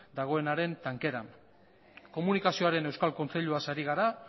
dagoenaren tankeran komunikazioaren euskal kontseiluaz ari gara